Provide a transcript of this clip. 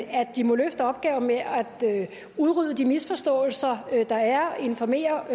at de må løfte opgaven med at udrydde de misforståelser der er og informere